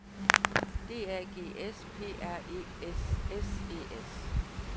D A G S P R E S S E S